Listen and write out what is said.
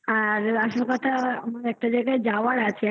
আর আসল কথা আমার একটা জায়গায় যাওয়ার আছে।